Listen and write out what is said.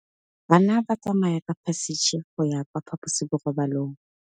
Bana ba tsamaya ka phašitshe go ya kwa phaposiborobalong.